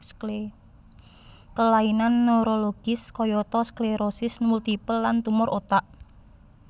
Kelainan neurologis kayata sklerosis multipel lan tumor otak